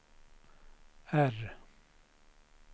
R